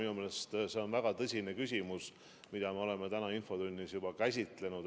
Minu meelest see on väga tõsine küsimus ja me oleme seda täna infotunnis juba käsitlenud.